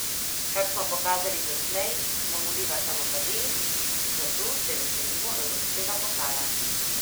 Kar smo pokazali doslej, nam vliva samozavest, zato se veselimo evropskega pokala.